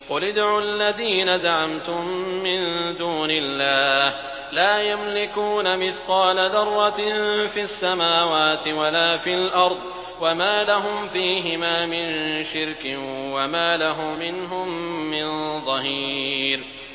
قُلِ ادْعُوا الَّذِينَ زَعَمْتُم مِّن دُونِ اللَّهِ ۖ لَا يَمْلِكُونَ مِثْقَالَ ذَرَّةٍ فِي السَّمَاوَاتِ وَلَا فِي الْأَرْضِ وَمَا لَهُمْ فِيهِمَا مِن شِرْكٍ وَمَا لَهُ مِنْهُم مِّن ظَهِيرٍ